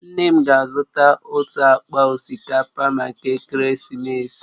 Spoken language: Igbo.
Nne m ga-azụta otu akpa osikapa maka ekeresimesi